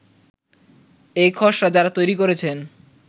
এই খসড়া যারা তৈরী করেছেন